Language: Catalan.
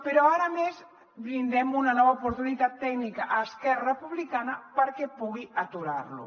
però ara a més brindem una nova oportunitat tècnica a esquerra republicana perquè pugui aturar lo